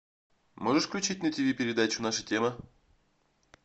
можешь включить на тиви передачу наша тема